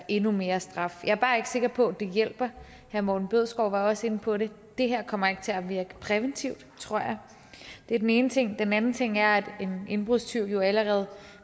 endnu mere straf jeg er bare ikke sikker på at det hjælper herre morten bødskov var også inde på det det her kommer ikke til at virke præventivt tror jeg det er den ene ting den anden ting er at en indbrudstyv jo allerede